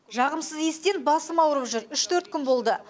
жағымсыз иістен басым аурып жүр үш төрт күн болды